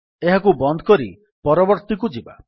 ଏହାକୁ ବନ୍ଦ କରି ପରବର୍ତ୍ତୀକୁ ଯିବା